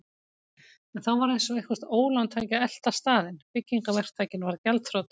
En þá var eins og eitthvert ólán tæki að elta staðinn: Byggingaverktakinn varð gjaldþrota.